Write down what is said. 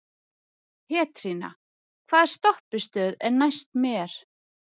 Pétrína, hvaða stoppistöð er næst mér?